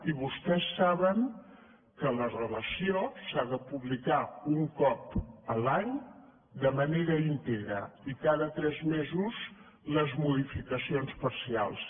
i vostès saben que la relació s’ha de publicar un cop l’any de manera íntegra i cada tres mesos les modificacions parcials